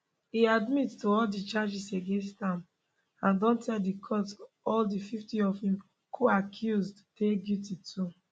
e admit to all di charges against am and don tell di court all 50 of im coaccused dey guilty too